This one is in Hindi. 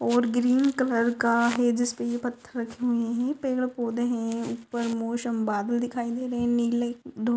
और ग्रीन कलर का है जिस्पे ये पत्थर थमे है पेड़ पौधे है उप्पर मोशम बादल दिखाई दे रहे है नीले धुप--